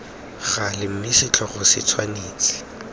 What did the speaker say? gale mme setlhogo se tshwanetse